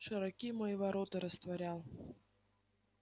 широки мои ворота растворял